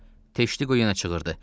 Teştiqo yenə çığırdı.